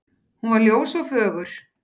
Hún var ljós og fögur.